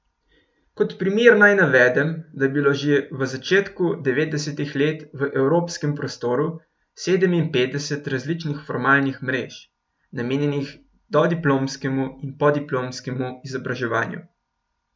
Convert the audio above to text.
Kot primer naj navedem, da je bilo že v začetku devetdesetih let v evropskem prostoru sedeminpetdeset različnih formalnih mrež, namenjenih dodiplomskemu in podiplomskemu izobraževanju.